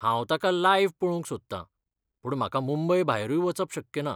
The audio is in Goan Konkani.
हांव ताका लायव्ह पळोवंक सोदता, पूण म्हाका मुंबय भायरूय वचप शक्य ना.